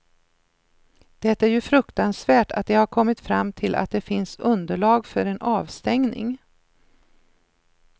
Det är ju fruktansvärt att de har kommit fram till att det finns underlag för en avstängning.